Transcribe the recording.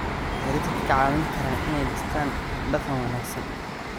Waxay dadka ka caawin karaan inay dhistaan ??hab-dhaqan wanaagsan.